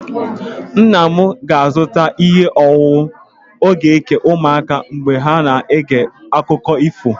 Nna m ga-azụta ihe ọṅụṅụ ọ ga-eke ụmụaka mgbe ha na-ege akụkọ ifo.